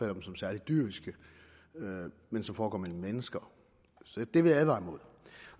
dem som særligt dyriske men som foregår mellem mennesker så det vil jeg advare imod